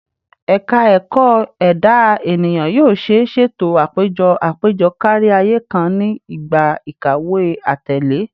Ẹka Ẹkọ Eda Eniyan yoo ṣee ṣeto apejọ apejọ kariaye kan ni igba ikawe atẹle